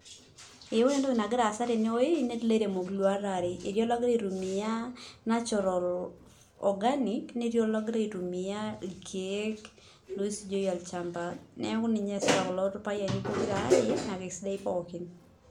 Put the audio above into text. Ore entoki nagira aasa tenewueji etii ilairemok iluat are etii ologira aitumia natural organic netii ologira aitumiaa irkeek loisujieki olchamba neeku ninye eesita kulo payiani pokira aare naa kesidan pookin.